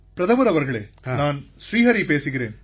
பிரதமர் அவர்களே நான் ஸ்ரீ ஹரி பேசுகிறேன்